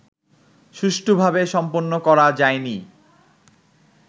সুষ্ঠুভাবে সম্পন্ন করা যায়নি